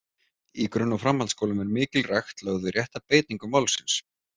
Í grunn- og framhaldsskólum er mikil rækt lögð við rétta beitingu málsins.